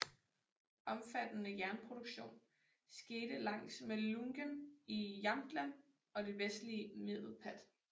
Omfattende jernproduktion skete langs med Ljungan i Jämtland og det vestlige Medelpad